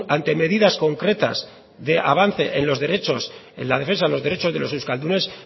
ante medidas concretas de avance en los derechos en las defensa de los derechos de los euskaldunes